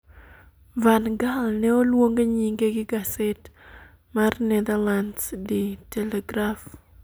Van Gaal ne oluong' nyinge gi gaset mar Netherlands De Telegraf